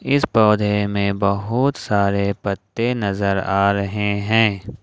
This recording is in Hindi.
इस पौधे में बहुत सारे पत्ते नजर आ रहे हैं।